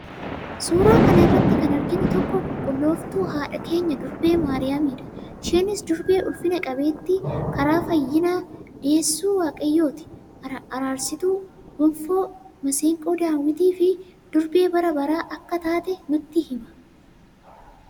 Suura kana irratti kan arginu tokko qulqullooftu haadha keenya durbee Maariyaamii dha. Isheenis durbee ulfina qabeettii, karaa fayyinaa, deessuu, waaqayyootti araarsituu, gonfoo, maseeqoo Daawit fi durbee bara baraa akka taatee nutti hima.